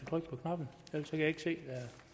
på knappen ellers kan jeg ikke se